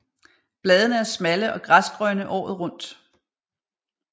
Bladene er smalle og græsgrønne året rundt